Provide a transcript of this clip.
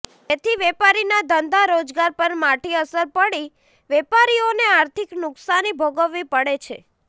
જેથી વેપારીના ધંધા રોજગાર પર માઠી અસર પડી વેપારીઓને આર્થિક નુકસાની ભોગાવવી પડે છે